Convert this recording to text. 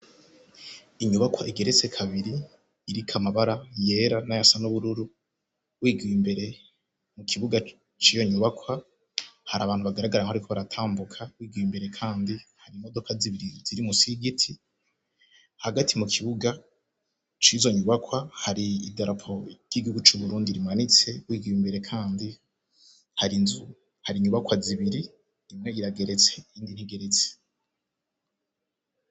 Inyubakwa egeretse kabiri irika amabara yera n'ayasa n'ubururu, wigiye imbere mu kibuga ciyonyubakwa hari abantu bagaragara nko ari ko baratambuka, wigiye imbere kandi hari imodoka zibiri ziri musi giti hagati mu kibuga cizo nyubakwa hari idarapo ry’igihugu c’uburundi rimanitse wigiwe imbere kandi hari inzu hari inyubakwa zibiri rimwe yirageretse indi ntigeritsi.